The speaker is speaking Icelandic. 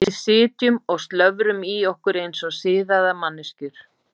Við sitjum og slöfrum í okkur eins og siðaðar manneskjur.